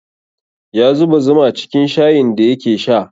Ya zuba zuma cikin shayin da yake sha